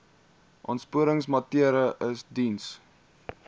aansporingsmaatre ls diens